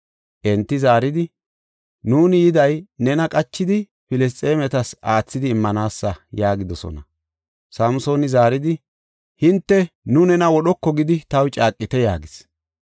Enti zaaridi, “Nuuni yiday nena qachidi, Filisxeemetas aathidi immanaasa” yaagidosona. Samsooni zaaridi, “Hinte nu nena wodhoko gidi taw caaqite” yaagis.